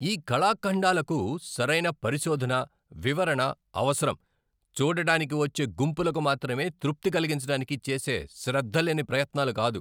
ఈ కళాఖండాలకు సరైన పరిశోధన, వివరణ అవసరం, చూడటానికి వచ్చే గుంపులకు మాత్రమే తృప్తి కలిగించటానికి చేసే శ్రద్ధలేని ప్రయత్నాలు కాదు.